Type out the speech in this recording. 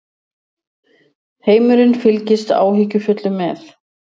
Heimurinn fylgist áhyggjufullur með